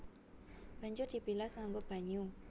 Banjur dibilas nganggo banyu